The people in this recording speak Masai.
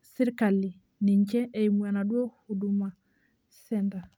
sirkali ninche eimu enaduo huduma center.